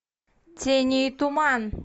тени и туман